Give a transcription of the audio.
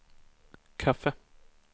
kaffe